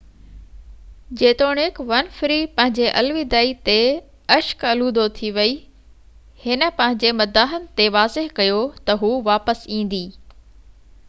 جيتوڻيڪ ونفري پنهنجي الوداعي تي اشڪ الودو ٿي وئي هن پنهنجي مداحن تي واضح ڪيو ته هو واپس ايندي